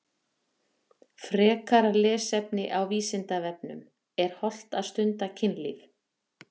Frekara lesefni á Vísindavefnum Er hollt að stunda kynlíf?